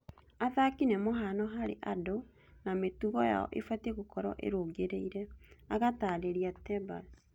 Athaki nĩ mũhano harĩ andũ na mĩtugo yao ibatiĩ gũkorũo ĩrũngĩrĩire’’ agatarĩria Tebas